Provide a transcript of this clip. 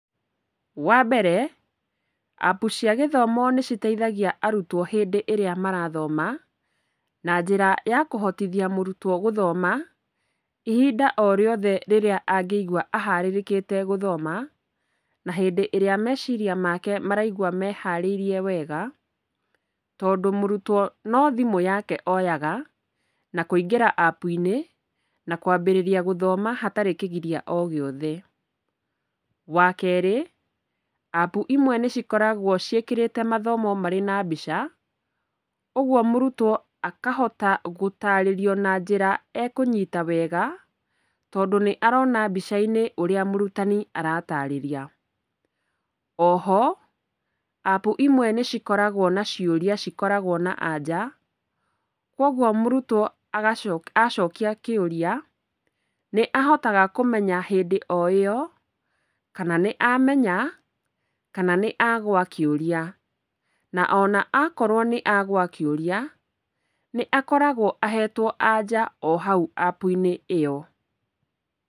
Wambere, app cia gĩthomo nĩciteithagia arutwo hĩndĩ ĩrĩa marathoma na njĩra ya kũhotithia mũrutwo gũthoma ihinda o rĩothe rĩrĩa angĩigua aharĩrĩkĩte gũthoma na hĩndĩ ĩrĩa meciria make maraigua meharĩirie wega, tondũ mũrutwo no thimũ yake oyaga na kũingĩra app-inĩ na kwambĩrĩria gũthoma hatarĩ kĩgiria o gĩothe. Wakerĩ, app ĩmwe nĩcikoragwo ciĩkĩrĩte mathomo marĩ na mbica, ũgwo mũrutwo akahota gũtarĩrio na njĩra ekũnyita wega tondũ nĩarona mbica-inĩ ũrĩa mũrutani aratarĩria. Oho, app ĩmwe nĩcikoragwo na ciũria cikoragwo na anja, kwogwo mũrutwo agaco, acokia kĩũria nĩahotaga kũmenya hĩndĩ o ĩyo kana nĩamenya kana nĩagũa kĩũria, na ona akorwo nĩagũa kĩũria, nĩakoragwo ahetwo anja ohau app-inĩ ĩyo.